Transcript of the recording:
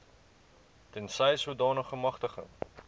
tensy sodanige magtiging